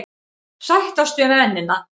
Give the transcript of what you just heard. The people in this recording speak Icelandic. Sættast við mennina.